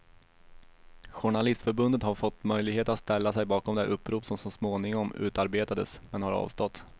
Journalistförbundet har fått möjlighet att ställa sig bakom det upprop som småningom utarbetades, men har avstått.